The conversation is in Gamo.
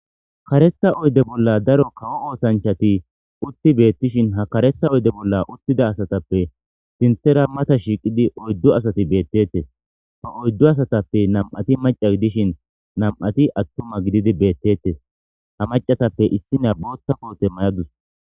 karetha oyde bolla daro kawo oosanchati utti beettishin ha kareta oydde bolla uttida asatappe sinthera mata shiiqidi oyddu asati beettettes ha oyddu asatappe nam'ati maca gidishin nam'ati attuma gididi beettettes ha macatappe issina bootha koote mayadus